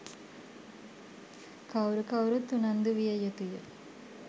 කවුරු කවුරුත් උනන්දු විය යුතුය.